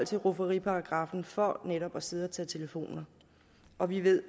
til rufferiparagraffen for netop at sidde og tage telefoner og vi ved